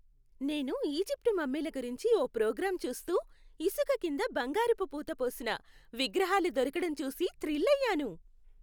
నేను ఈజిప్టు మమ్మీల గురించి ఓ ప్రోగ్రాం చూస్తూ, ఇసుక కింద బంగారపు పూతపోసిన, విగ్రహాలు దొరకటం చూసి థ్రిల్ అయ్యాను.